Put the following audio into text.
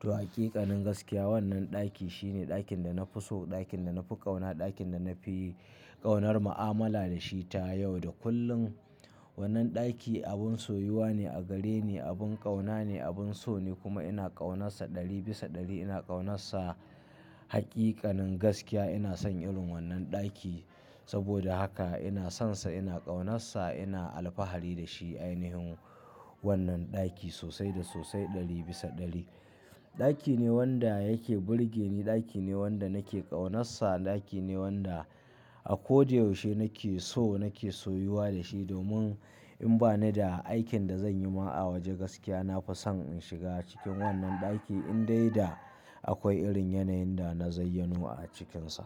To a ƙiƙanin gaskiya wannan ɗaki shine ɗakin da na fi so, ɗakin da na fi ƙauna, ɗakin da na fi ƙaunar mu'amala da shi ta yau da kullum. Wannan ɗaki abin soyuwa ne a gare ni, abin ƙauna ne, abin so ne kuma ina ƙaunarsa ɗari bisa ɗari. Ina ƙaunarsa haƙiƙanin gaskiya ina son irin wannan ɗaki. Saboda haka ina sonsa, ina ƙaunarsa, ina alfahari da shi ainihin wannan ɗaki sosai da sosai ɗari bisa ɗari. Ɗaki ne wanda yake burge ni, ɗaki ne wanda nake ƙaunarsa, ɗaki ne wanda a ko da yaushe nake so nake soyuwa da shi domin in ba ni da aikin da zan yi ma a waje gaskiya, na fi son in shiga cikin wannan ɗaki in dai da akwai irin yanayin da na zayyano a cikinsa.